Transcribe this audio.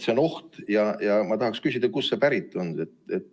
See on oht ja ma tahan küsida, kust see pärit on.